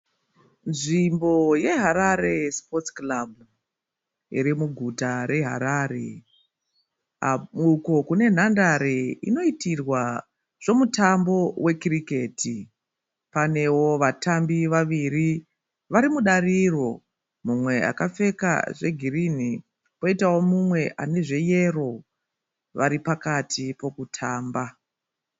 Nzvimbo yeHarare sipotsi kirabhu , iri muguta reHarare uko kune nhandare inoitirwa zvemutambo wekiriketi, panewo vatambi vaviri varimudariro mumwe akapfeka zvegirini poitawo mumwe anezveyero varipakati pekutamba.